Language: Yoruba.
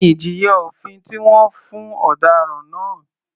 Kí ni ìjìyà òfin tí wọ́n fún ọ̀daràn náà?